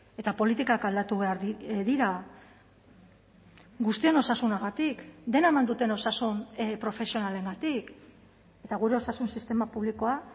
eta politikak aldatu behar dira guztion osasunagatik dena eman duten osasun profesionalengatik eta gure osasun sistema publikoa